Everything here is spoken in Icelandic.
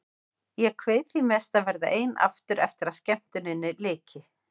Ég kveið því mest að verða ein aftur eftir að skemmtuninni lyki.